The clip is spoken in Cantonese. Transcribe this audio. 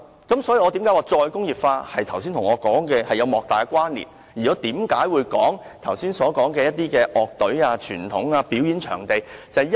因此，我認為"再工業化"與我剛才所說的有莫大關連，而這亦解釋了為何我剛才提及那些樂隊、傳統和表演場地。